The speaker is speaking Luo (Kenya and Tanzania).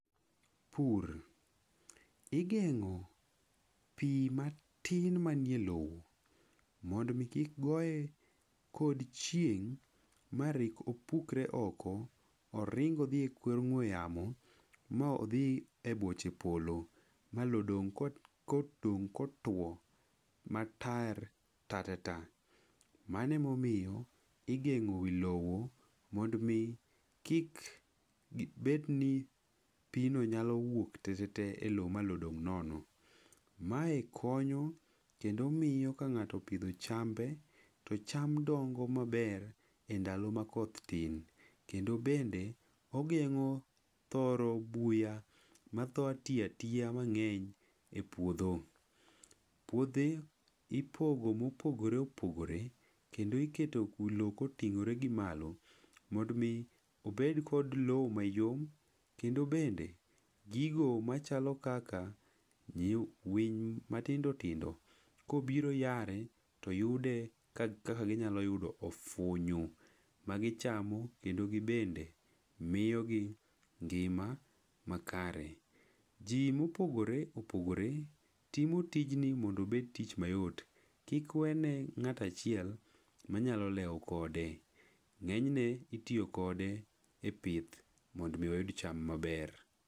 Pur igeng'o pi matin manie lowo mondo omi kik goye kod chieng' ma rip opukore oko, oring' odhie kor ong'we yamo, ma odhi e boche polo, ma lowo dong' ko, ko dong' kotwo matar tatata. Mano ema omiyo igengi wi lowo mondo omi kik gibed ni pi no nyalo wuok e lowo tetete ma lowo dong' nono. Mae konyo kendo miyo ka ng'ato opidho chambe, to cham dongo maber e ndalo makoth tin. Kendo bende ogeng'o thoro buya ma tho ti atiya mang'eny e puodho. Puothe ipogo mopogore opogore, kendo iketo lowo koting'ore gi malo. Mondo omi obed kod lowo mayom. Kendo bende gigo machalo kaka winy matindo tindo, kobiro yare, kobiro yare to yudo ka kaka ginyalo yudo ofunyu magichamo kendo gibende miyo gi ngima makare. Ji mopogore opogore, timo tijni mondo obed tich mayot. Kik wene ng'ato achiel manyalo lewo kode. Ng'enyne itiyo kode e pith mondo omi oyud cham maber.